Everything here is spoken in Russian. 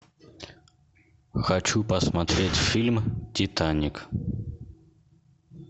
хочу посмотреть фильм титаник